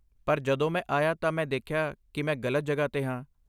ਪਰ ਜਦੋਂ ਮੈਂ ਆਇਆ ਤਾਂ, ਮੈਂ ਦੇਖਿਆ ਕਿ ਮੈਂ ਗ਼ਲਤ ਜਗ੍ਹਾ 'ਤੇ ਹਾਂ।